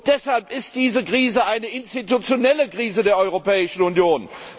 Deshalb ist diese Krise eine institutionelle Krise der Europäischen Union.